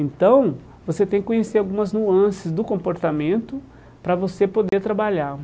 Então, você tem que conhecer algumas nuances do comportamento para você poder trabalhar.